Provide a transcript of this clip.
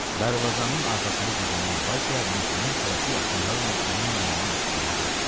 Darvazanın arxasında gizlənən Vasiya Mehdinin tələsik addımlarla onun yanından ötdüyünü gördü.